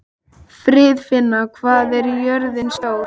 Friðfinna, hvað er jörðin stór?